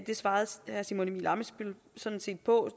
det svarede herre simon emil ammitzbøll sådan set på